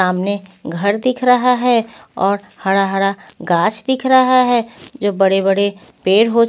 सामने घर दिख रहा है और हरा-हरा गाछ दिख रहा है जो बड़े-बड़े पेड़ हो --